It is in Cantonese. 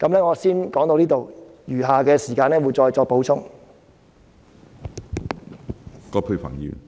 我先說到這裏，稍後時間再作補充。